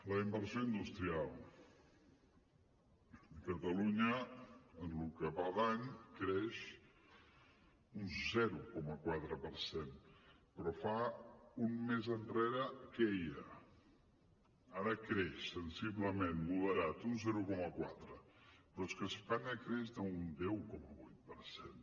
la inversió industrial catalunya en el que va d’any creix un zero coma quatre per cent però fa un mes queia ara creix sensiblement moderat un zero coma quatre però és que a espanya creix d’un deu coma vuit per cent